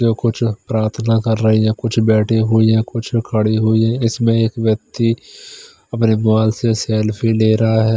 जो कुछ प्रार्थना कर रही है कुछ बैठे हुई है कुछ खड़ी हुई है इसमें एक व्यक्ति अपने मोबाइल से सेल्फी ले रहा है।